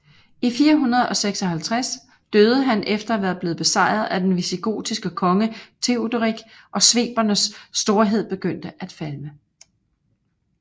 I 456 døde han efter at være blevet besejret af den visigotiske konge Teoderik og svebernes storhed begyndte at falme